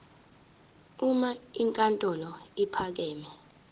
uma inkantolo ephakeme